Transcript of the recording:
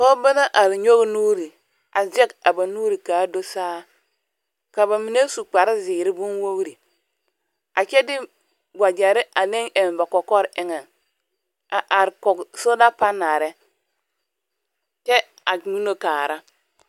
Pͻgebͻ la are nyͻge nuuri, a zԑge a ba nuuri ka a do saa. Ka ba mine su kpare zeere bonwogiri a kyԑ de wagyԑre aneŋ eŋ ba kͻkͻre eŋԑŋ a are kͻge soola panaale kyԑ a guuno kaara.